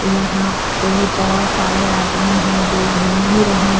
यहां पे बहुत सारे आदमी है जो घूम भी रहे हैं।